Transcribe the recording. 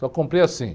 Só comprei assim.